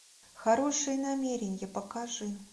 хорошие намерения покажи